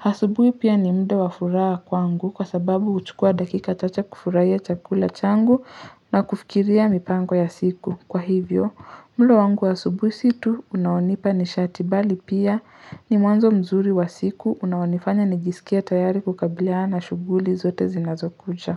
Asubui pia ni muda wa furaha kwangu kwa sababu kuchukua dakika chache kufurahia chakula changu na kufikiria mipangu ya siku. Kwa hivyo, mlo wangu wa asubuhi si tu unaonipa nishati bali pia ni mwanzo mzuri wa siku unaonifanya nijisikia tayari kukabiliana na shuguli zote zinazokuja.